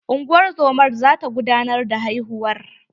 Ungozomar za ta gudanar da haihuwar.